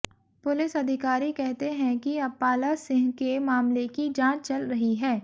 police अधिकारी कहते हैं कि अपाला सिंह के मामले की जांच चल रही है